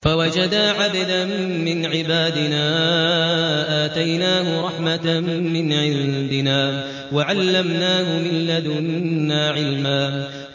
فَوَجَدَا عَبْدًا مِّنْ عِبَادِنَا آتَيْنَاهُ رَحْمَةً مِّنْ عِندِنَا وَعَلَّمْنَاهُ مِن لَّدُنَّا عِلْمًا